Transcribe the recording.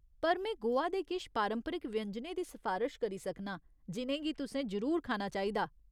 पर में गोवा दे किश पारंपरिक व्यंजनें दी सफारश करी सकनां जि'नें गी तुसें जरूर खाना चाहिदा।